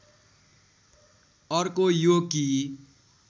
अर्को यो कि